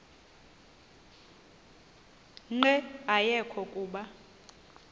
nqe ayekho kuba